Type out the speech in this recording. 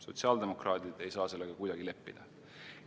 Sotsiaaldemokraadid ei saa sellega kuidagi leppida.